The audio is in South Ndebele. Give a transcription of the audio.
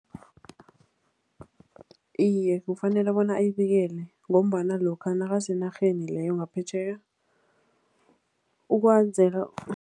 Iye, kufanele bona ayibikele ngombana lokha nakasenarheni leyo ngaphetjheya ukwenzela.